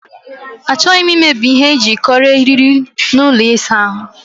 Achọghị m imebi ihe eji ekonye eriri n'ụlọ ịsa ahụ.